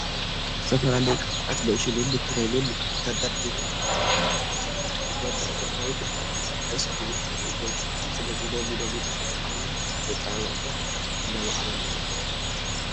ዝተፈላለዩ ቅብኣታት፣ ሎሽናትን ክሬማትን ተደርዲሮም ኣለዉ፡፡ እዞም ምህርቲ ጐናዊ ጉድኣት ከስዕቡ ይኽእሉ እዮም፡፡ ስለዚ ሎሚ ሎሚ ተፈጥሯዊ መፀባበቕታት እናማዕበሉ እዮም፡፡